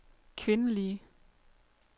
kvindelige